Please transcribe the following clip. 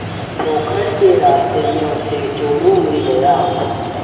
पोखर के रास्ते में उसे चोरु मिल गया